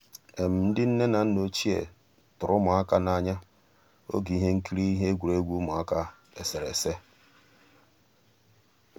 ndị́ nnè ná nná òchíé tụ̀rụ̀ ụmụ́àká n'ànyá ògé íhé nkírí íhé égwurégwu ụmụ́àká éséréésé.